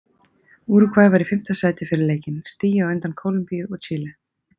Úrúgvæ var í fimmta sæti fyrir leikinn, stigi á undan Kólumbíu og Chile.